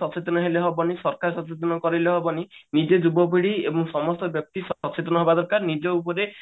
ସଚେତନ ହେଲେ ହବନି ସରକାର ସଚେତନ କରେଇଲେ ହବନି ନିଜେ ଯୁବପିଢି ଏବଂ ସମସ୍ତ ବ୍ୟକ୍ତି ସଚେତନ ହବା ଦରକାର ନିଜ ଉପରେ